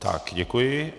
Tak děkuji.